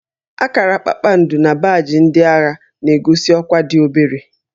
Akara kpakpando na baajị ndị agha na-egosi ọkwá dị obere